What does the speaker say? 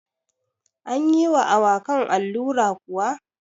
Anyi wa awakan allura kuwa?